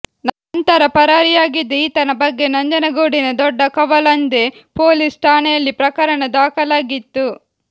ನಂತರ ಪರಾರಿಯಾಗಿದ್ದ ಈತನ ಬಗ್ಗೆ ನಂಜನಗೂಡಿನ ದೊಡ್ಡಕವಲಂದೆ ಪೊಲೀಸ್ ಠಾಣೆಯಲ್ಲಿ ಪ್ರಕರಣ ದಾಖಲಾಗಿತ್ತು